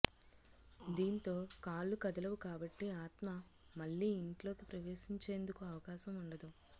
దీంతో కాళ్లు కదలవు కాబట్టి ఆత్మ మళ్లీ ఇంట్లోకి ప్రవేశించేందుకు అవకాశం ఉండదు